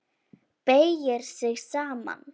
Beygir sig saman.